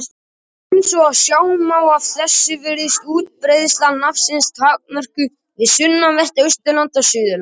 Eins og sjá má af þessu virðist útbreiðsla nafnsins takmörkuð við sunnanvert Austurland og Suðurland.